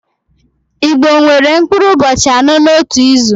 Igbo nwere mkpụrụ ụbọchị anọ n'otu izu